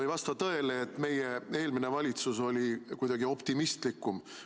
Ei vasta tõele, et eelmine valitsus oli kuidagi optimistlikum.